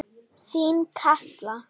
Þín Katla.